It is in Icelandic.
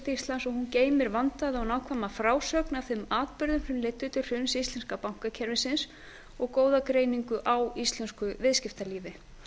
íslands og hún geymir vandaða og nákvæma frásögn af þeim atburðum sem leiddu til hruns íslenska bankakerfisins og góða greiningu á íslensku viðskiptalífi